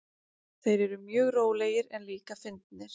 Þeir eru mjög rólegir en líka fyndnir.